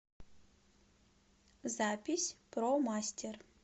запись промастер